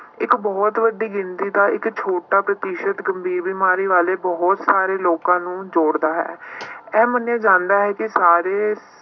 ਇੱਕ ਬਹੁਤ ਵੱਡੀ ਗਿਣਤੀ ਦਾ ਇੱਕ ਛੋਟਾ ਪ੍ਰਤੀਸ਼ਤ ਗੰਭੀਰ ਬਿਮਾਰੀ ਵਾਲੇ ਬਹੁਤ ਸਾਰੇ ਲੋਕਾਂ ਨੂੰ ਜੋੜਦਾ ਹੈ ਇਹ ਮੰਨਿਆ ਜਾਂਦਾ ਹੈ ਕਿ ਸਾਰੇ